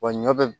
Wa ɲɔ bɛ